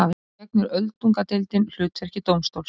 Þá gegnir öldungadeildin hlutverki dómstóls.